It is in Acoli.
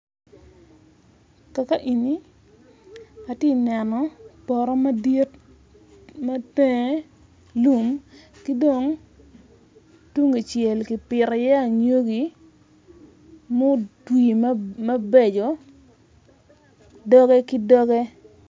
Kaka eni atye neno poto madit mabene lum ki dong tung kicel kipito iye anyogi mutwi mabeco doge ki doge.